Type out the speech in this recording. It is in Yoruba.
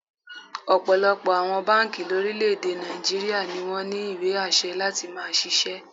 Ọ̀pọ̀lọpọ̀ àwọn báǹkì lórílẹ̀-èdè Nàìjííríà ni wọ́n ní ìwé àṣẹ láti máá ṣiṣẹ́